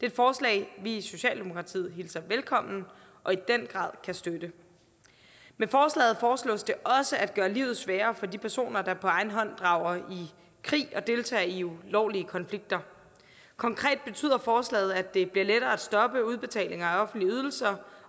et forslag vi i socialdemokratiet hilser velkommen og i den grad kan støtte med forslaget foreslås det også at gøre livet sværere for de personer der på egen hånd drager i krig og deltager i ulovlige konflikter konkret betyder forslaget at det bliver lettere at stoppe udbetaling af offentlige ydelser